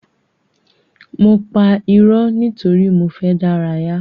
Mo pa ìró nítorí mo fẹ dárayá.